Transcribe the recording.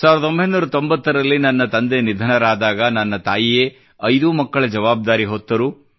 1990 ರಲ್ಲಿ ನನ್ನ ತಂದೆ ನಿಧನರಾದಾಗ ನನ್ನ ತಾಯಿಯೇ ಐದೂ ಮಕ್ಕಳ ಜವಾಬ್ದಾರಿ ಹೊತ್ತರು